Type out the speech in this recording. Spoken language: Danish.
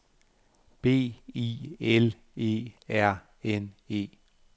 B I L E R N E